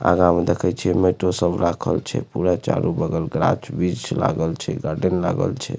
आगा में देखई छी मिट्टी सब राखल छे पूरा चारों बगल गाछ-वृछ लागल छे गार्डन लागल छे।